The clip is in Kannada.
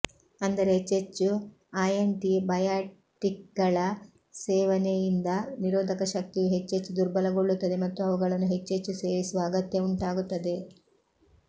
ಅಂದರೆ ಹೆಚ್ಚೆಚ್ಚು ಆಯಂಟಿಬಯಾಟಿಕ್ಗಳ ಸೇವನೆಯಿಂದ ನಿರೋಧಕ ಶಕ್ತಿಯು ಹೆಚ್ಚೆಚ್ಚು ದುರ್ಬಲಗೊಳ್ಳುತ್ತದೆ ಮತ್ತು ಅವುಗಳನ್ನು ಹೆಚ್ಚೆಚ್ಚು ಸೇವಿಸುವ ಅಗತ್ಯವುಂಟಾಗುತ್ತದೆ